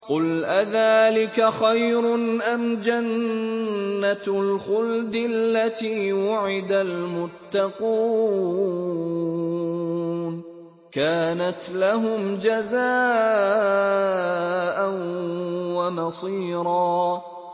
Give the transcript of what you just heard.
قُلْ أَذَٰلِكَ خَيْرٌ أَمْ جَنَّةُ الْخُلْدِ الَّتِي وُعِدَ الْمُتَّقُونَ ۚ كَانَتْ لَهُمْ جَزَاءً وَمَصِيرًا